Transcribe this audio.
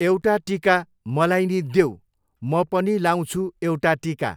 एउटा टिका मलाई नि देऊ म पनि लाउँछु एउटा टिका